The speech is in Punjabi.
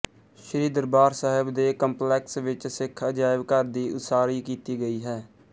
ਸ੍ਰੀ ਦਰਬਾਰ ਸਾਹਿਬ ਦੇ ਕੰਪਲੈਕਸ ਵਿੱਚ ਸਿੱਖ ਅਜਾਇਬ ਘਰ ਦੀ ਉਸਾਰੀ ਕੀਤੀ ਗਈ ਹੈ